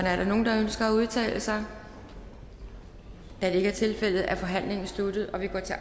er der nogen der ønsker at udtale sig da det ikke er tilfældet er forhandlingen sluttet og vi går til